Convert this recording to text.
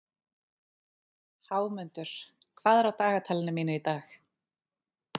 Hámundur, hvað er á dagatalinu mínu í dag?